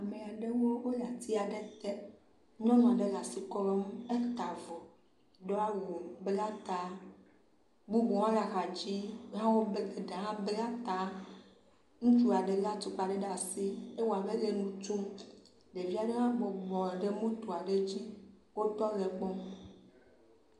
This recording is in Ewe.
Ame aɖewo le atia ɖe te. Nyɔnu aɖe le asi klɔm, do awu, bla ta, bubu hã le axa dzi. Ya wo, eɖe hã bla ta. Ŋutsu aɖe le atukpa ɖe asi, ewɔa be ele nu tsom. Ɖevi aɖe hã bubɔ nɔ moto aɖe dzi. Wotɔ le ekpɔm.